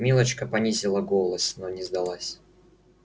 милочка понизила голос но не сдалась